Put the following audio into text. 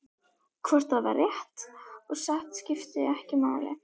Hvort það var rétt og satt skipti ekki máli.